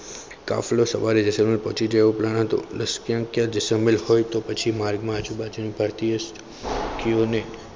કાફલો સમયસર સવારે જૈસલમેર પહોંચી જાય તેવો plan હતો લશ્કર ક્યાંક જેસલમેર હોય તો પછી માર્ગ માં આજુબાજુ ક્યાંક ક્યુ અને